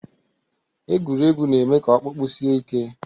Egwuregwu na-eme ka ọkpụkpụ sie ike